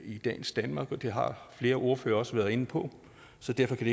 i dagens danmark og det har flere ordførere også været inde på så derfor kan